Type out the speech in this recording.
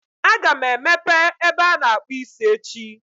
Aga m emepe ebe ana-akpụ isi echi.